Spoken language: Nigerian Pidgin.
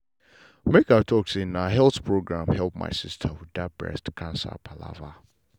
make i talk true na health program help my sister with that breast cancer palava.